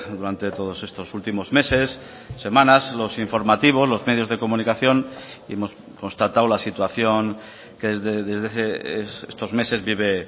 durante todos estos últimos meses semanas los informativos los medios de comunicación y hemos constatado la situación que desde estos meses vive